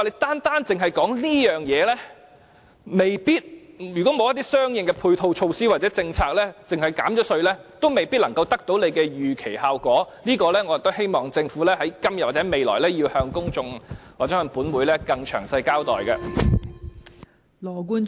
單單只說這方面，如果沒有一些相應的配套措套或政策而只憑減稅，未必能夠得到當局預期的效果，我希望政府今天或未來，要向公眾或本會更詳細的交代這方面。